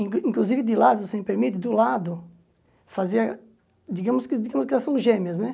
In inclusive, de lado, se me permite, do lado, fazia... Digamos digamos que elas são gêmeas, né?